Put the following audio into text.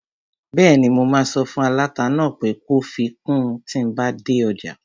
Bẹ́ẹ̀ni, mo máa sọ fún aláta náà pé kó fi kun tíi n bá dé ọjà